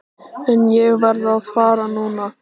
En ég verð að fara núna.